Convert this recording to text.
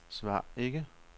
svar ikke